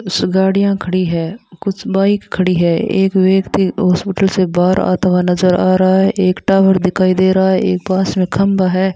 इस गाड़ियां खड़ी है कुछ बाइक खड़ी है एक व्यक्ति हॉस्पिटल से बाहर आता हुआ नजर आ रहा है एक टावर दिखाई दे रहा है एक पास में खंबा है।